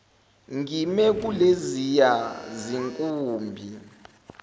ngime kuleziya zinkumbi